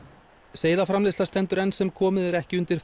seiðaframleiðsla stendur enn sem komið er ekki undir